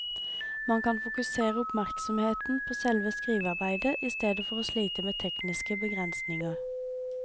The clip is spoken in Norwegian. Man kan fokusere oppmerksomheten på selve skrivearbeidet i stedet for å slite med tekniske begrensninger.